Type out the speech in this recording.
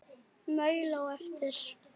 Maul á eftir.